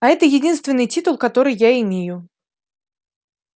а это единственный титул который я имею